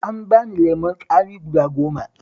An bani lemon tsami guda goma